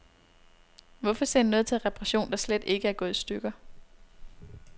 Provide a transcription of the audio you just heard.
Hvorfor sende noget til reparation, der slet ikke er gået i stykker.